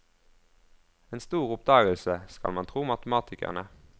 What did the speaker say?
En stor oppdagelse, skal vi tro matematikerne.